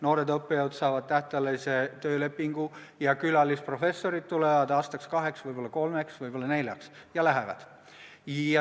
Noored õppejõud saavad tähtajalise töölepingu ja külalisprofessorid tulevad aastaks-kaheks, võib-olla kolmeks, võib-olla neljaks ja seejärel lähevad.